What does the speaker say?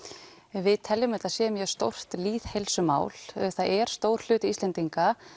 við teljum að þetta sé mjög stórt lýðheilsumál það er stór hluti Íslendinga